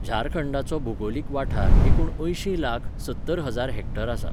झारखंडाचो भूगोलीक वाठार एकुण अंयशी लाख, सत्तर हजार हेक्टर आसा.